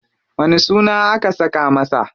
Wani suna aka saka masa?